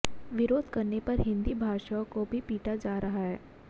विरोध करने पर हिन्दी भाषियों को पीटा भी जा रहा है